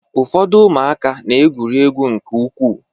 Ụfọdụ ụmụaka na-egwuri egwu nke ukwuu.